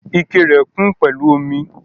Ikẹ rẹ kun pẹlu omi.